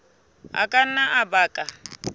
a ka nna a baka